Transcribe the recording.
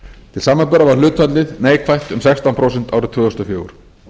til samanburðar var hlutfallið neikvætt um sextán prósent árið tvö þúsund og fjögur